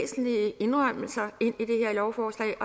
væsentlige indrømmelser ind i det her lovforslag